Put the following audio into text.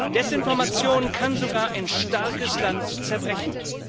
Desinformation kann sogar ein starkes Land zerbrechen.